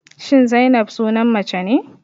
Shin Zainab sunan mace ne?